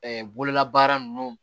Ɛɛ bololabaara ninnu